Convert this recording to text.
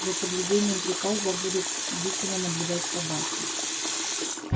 за соблюдением приказа будут бдительно наблюдать собаки